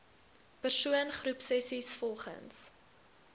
persoon groepsessies volgens